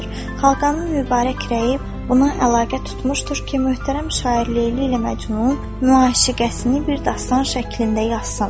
Xaqanın mübarək rəyi buna əlaqə tutmuşdur ki, möhtərəm şair Leyli ilə Məcnun müəşqətini bir dastan şəklində yazsın.